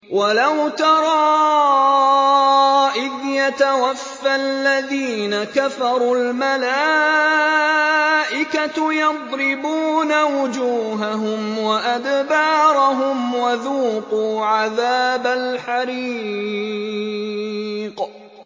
وَلَوْ تَرَىٰ إِذْ يَتَوَفَّى الَّذِينَ كَفَرُوا ۙ الْمَلَائِكَةُ يَضْرِبُونَ وُجُوهَهُمْ وَأَدْبَارَهُمْ وَذُوقُوا عَذَابَ الْحَرِيقِ